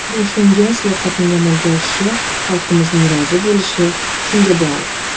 Boshlangan islohotlarning amalga oshishi, xalqimizning rozi bo‘lishi shunga bog‘liq.